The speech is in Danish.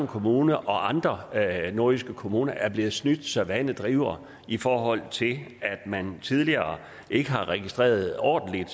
kommune og andre nordjyske kommuner er blevet snydt så vandet driver i forhold til at man tidligere ikke har registreret ordentligt